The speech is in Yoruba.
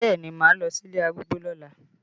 Bẹẹ ni, máa lọ sí ilé arúgbó lọ́la